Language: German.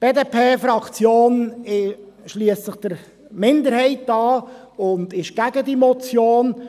Die BDP-Fraktion schliesst sich der Minderheit an und ist gegen diese Motion.